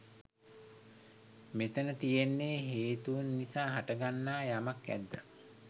මෙතැන තියෙන්නේ හේතූන් නිසා හටගන්නා යමක් ඇද්ද